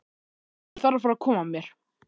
Ég þarf að fara að koma mér.